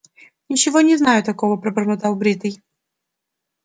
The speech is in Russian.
ничего не знаю такого пробормотал бритый